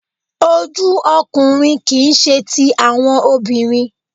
oju ọkunrin kii ṣe ti awọn obinrin